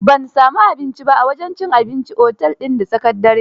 Ban sami abinci ba, a wajen cin abincin otel din da tsakar dare.